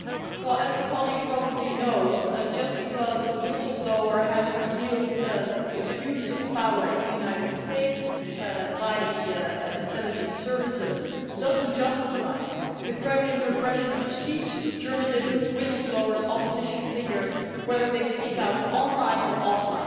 As our colleague probably knows, just because a whistleblower has revealed the abuse of power in the United States by the intelligence services, this does not justify the Kremlin's repression of speech, journalists, whistleblowers and opposition figures, whether they speak out online or offline.